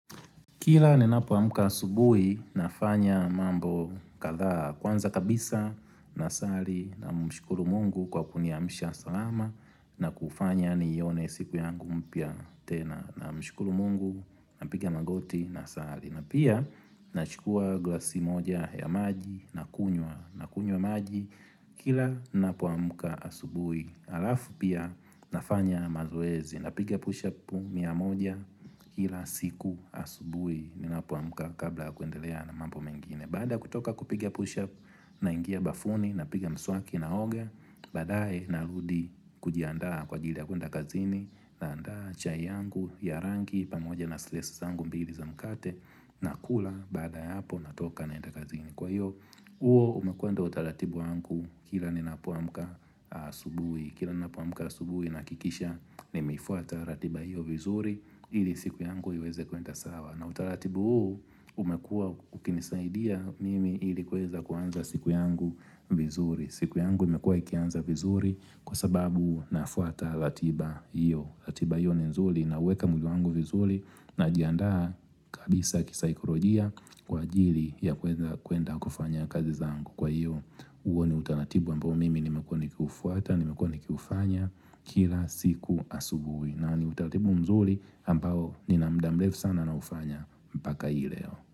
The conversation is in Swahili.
Kila ninapoamka asubui, nafanya mambo kadhaa. Kwanza kabisa, nasali namshukuru mungu kwa kuniamisha salama na kufanya nione siku yangu mpya tena. Namshukuru mungu, napiga magoti nasali na pia Nachukua glasi moja ya maji nakunywa, nakunywa maji Kila ninapoamka asubui, alafu pia nafanya mazoezi. Napiga push-up miya moja Kila siku asubui ninapoamka kabla kuendelea na mambo mengine. Baada ya kutoka kupiga push-up, naingia bafuni. Napiga mswaki, naoga. Baadae narudi kujiandaa kwa ajili ya kuenda kazini. Naandaa chai yangu ya rangi pamoja na slaisi zangu mbili za mkate. Nakula baadaa ya hapo, natoka naenda kazini. Kwa hiyo, huo umekuwa ndio utaratibu wangu kila ninapoamka. Asubui Kila ninapoamka asubuhi, nahakikisha nimeifuata ratiba hiyo vizuri ili siku yangu iweze kwenda sawa na utaratibu huu umekuwa ukinisaidia mimi ili kuweza kuanza siku yangu vizuri. Siku yangu imekuwa ikianza vizuri kwa sababu nafuata ratiba hiyo ratiba hiyo ni nzuri, nauweka muda wangu vizuri, najiandaa kabisa kisaikolojia kwa ajili ya kuweza kwenda kufanya kazi zangu. Kwa hiyo, huo ni utaratibu ambao mimi nimekuwa nikiufuata, nimekuwa nikiufanya kila siku asubuhi. Na ni utaratibu mzuri ambao nina muda mrefu sana naufanya mpaka hii leo.